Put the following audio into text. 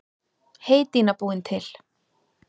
Heydýna búin til.